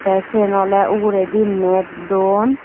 tey siyen oley uguredi net don.